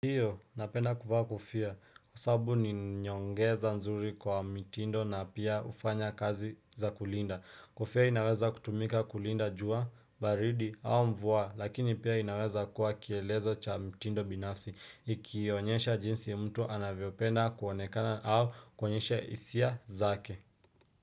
Ndiyo, napenda kuvaa kofia, kwa sababu ni nyongeza nzuri kwa mitindo na pia hufanya kazi za kulinda. Kofia inaweza kutumika kulinda jua, baridi, au mvua, lakini pia inaweza kuwa kielezo cha mitindo binafsi, ikionyesha jinsi mtu anavyopenda kuonekana au kuonyesha hisia zake.